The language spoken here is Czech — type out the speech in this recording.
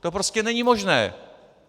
To prostě není možné.